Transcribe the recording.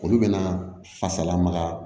Olu bɛna fasala magaya